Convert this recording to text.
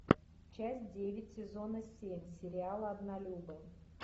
часть девять сезона семь сериала однолюбы